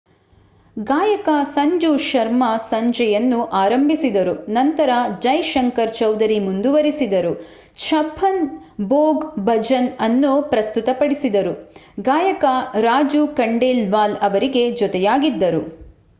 ಗಾಯಕ ಸಂಜು ಶರ್ಮಾ ಸಂಜೆಯನ್ನು ಆರಂಭಿಸಿದರು ನಂತರ ಜೈ ಶಂಕರ್ ಚೌಧರಿ ಮುಂದುವರಿಸಿದರು ಛಪ್ಪನ್ ಭೋಗ್ ಭಜನ್ ಅನ್ನೂ ಪ್ರಸ್ತುತಪಡಿಸಿದರು ಗಾಯಕ ರಾಜು ಖಂಡೇಲ್ವಾಲ್ ಅವರಿಗೆ ಜೊತೆಯಾಗಿದ್ದರು